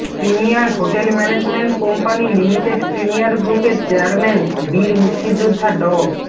premier hotel management company limited premier গ্রুপের chairman বীর মুক্তিযোদ্ধা ড